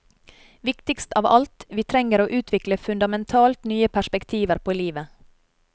Viktigst av alt, vi trenger å utvikle fundamentalt nye perspektiver på livet.